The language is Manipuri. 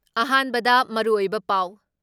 ꯑꯍꯥꯟꯕꯗ ꯃꯔꯨꯑꯣꯏꯕ ꯄꯥꯎ ꯫